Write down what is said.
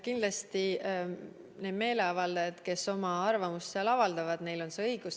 Kindlasti, meeleavaldajatel, kes oma arvamust avaldavad, on selleks õigus.